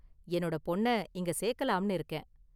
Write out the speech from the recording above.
என்னோட பொண்ண இங்க சேர்க்கலாம்னு இருக்கேன்.